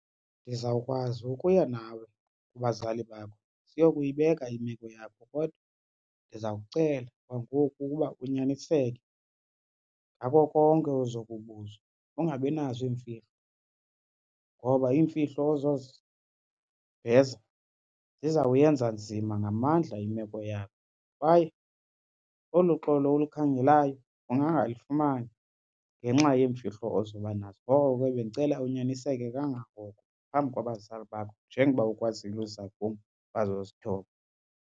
Ndizawukwazi ukuya nawe kubazali bakho siyokuyibeka imeko yakho kodwa ndiza kucela kwangoku uba unyaniseke ngako konke ozokubuzwa, ungabinazo iimfihlo. Ngoba iimfihlo ozoziveza zizawuyenza nzima ngamandla imeko yakho kwaye olu xolo ulukhangelayo ungangalifumani ngenxa yeemfihlo ozoba nazo. Ngoko ke bendicela unyaniseke kangangoko phambi kwabazali bakho njengoba ukwazile uza kum wazozithoba.